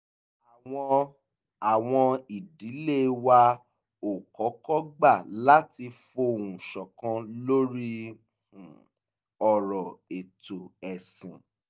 àwọn àwọn ìdílé wa ò kọ́kọ́ gbà láti fohùn ṣọ̀kan lórí um ọ̀rọ̀ ètò ẹ̀sìn